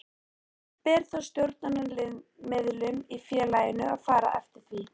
Ber þá stjórnaraðilum í félaginu að fara eftir því.